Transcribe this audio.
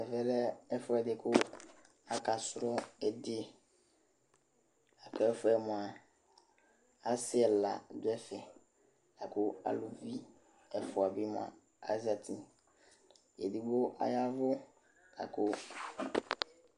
Ɛvɛ lɛ ɛfʋɛdɩ kʋ aka sʋ ɩdɩ,kʋ ɛfɛ mʋa, asɩ ɛla dʋ ɛfɛ ,akʋ aluvi ɛfʋa bɩ azati Edigbo yavʋ akʋ